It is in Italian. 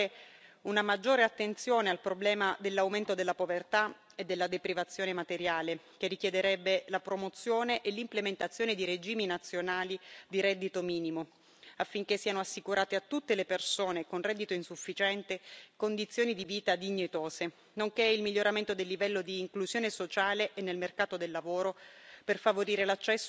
Avrei accolto con favore una maggiore attenzione al problema dell'aumento della povertà e della deprivazione materiale, che richiederebbe la promozione e l'implementazione di regimi nazionali di reddito minimo, affinché siano assicurate a tutte le persone con reddito insufficiente condizioni di vita dignitose, nonché il miglioramento del livello di inclusione sociale e nel mercato del lavoro,